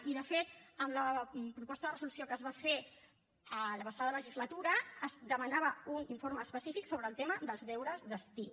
i de fet amb la proposta de resolució que es va fer la passada legislatura es demanava un informe específic sobre el tema dels deures d’estiu